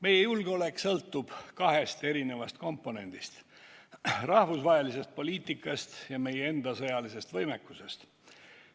Meie julgeolek sõltub kahest eri komponendist: rahvusvahelisest poliitikast ja meie enda sõjalisest võimekusest.